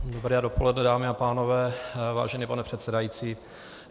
Dobré dopoledne, dámy a pánové, vážený pane předsedající.